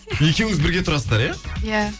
екеуіңіз бірге тұрасыздар иә иә